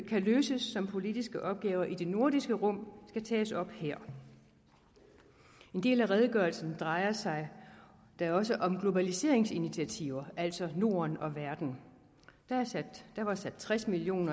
kan løses som politiske opgaver i det nordiske rum skal tages op her en del af redegørelsen drejer sig da også om globaliseringsinitiativer altså norden og verden der var sat tres million